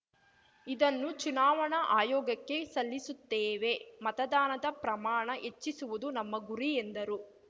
ಇದನ್ನು ಚುನಾವಣಾ ಆಯೋಗಕ್ಕೆ ಸಲ್ಲಿಸುತ್ತೇವೆ ಮತದಾನದ ಪ್ರಮಾಣ ಹೆಚ್ಚಿಸುವುದು ನಮ್ಮ ಗುರಿ ಎಂದರು